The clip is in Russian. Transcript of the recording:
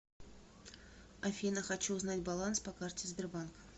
афина хочу узнать баланс по карте сбербанка